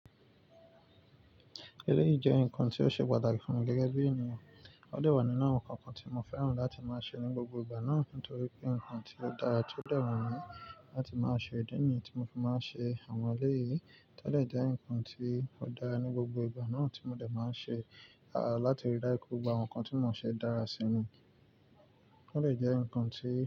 Eleyi jẹ́ nǹkan tí ó ṣe pàtàkì fún mi gẹ́gẹ́ bí ènìyàn, ó de wà nínú àwọn nǹkan kan tí mo fẹ́ràn láti máa ṣe ní gbogbo ìgbà náà nítorí pé nǹkan tí ó dára tí ó de wu mi. Láti máa ṣe ìdí nìyẹn tí mo fi máa ń ṣe àwọn ẹlẹ́yii, to dè jẹ́ nǹkan tí ó dára ní gbogbo ìgbà náà tí mo dẹ̀ máa ń ṣe, à láti rí daju wipe gbogbo àwọn nǹkan tí mò ń ṣe dára sí ni, ó dè jẹ́ nǹkan tí.